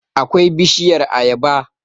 akwai bishiyar ayaba